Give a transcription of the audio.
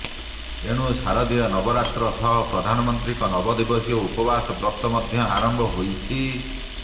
ଏଣୁ ଶାରଦୀୟ ନବରାତ୍ର ସହ ପ୍ରଧାନମନ୍ତ୍ରୀଙ୍କ ନବଦିବସୀୟ ଉପବାସ ବ୍ରତ ମଧ୍ୟ ଆରମ୍ଭ ହୋଇଛି